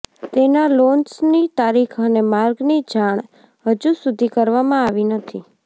તેના લોન્ચની તારીખ અને માર્ગની જાણ હજુ સુધી કરવામાં આવી નથી